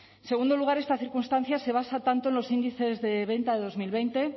en segundo lugar esta circunstancia se basa tanto en los índices de venta de dos mil veinte